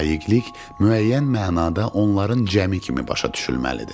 Layiqilik müəyyən mənada onların cəmi kimi başa düşülməlidir.